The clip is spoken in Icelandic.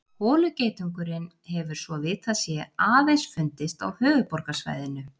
Holugeitungurinn hefur svo vitað sé aðeins fundist á höfuðborgarsvæðinu.